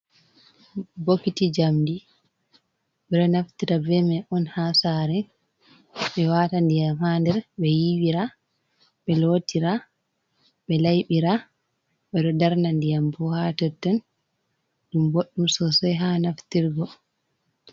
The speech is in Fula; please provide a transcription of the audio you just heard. Bokiti jamdi, ɓe ɗo Naftira bemai'on ha Sare, ɓe wata Ndiyam ha nder, ɓe yiwira, be lotira ɓe Laiɓira, ɓe ɗo darna Ndiyambo ha totton ɗum Bodɗum Sosai ha Naftirgo.